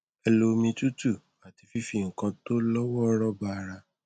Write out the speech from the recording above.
ẹ lo omi tútù àti fífi nǹkan tó lọ wọọrọ ba ara